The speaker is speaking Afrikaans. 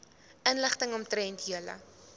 inligting omtrent julle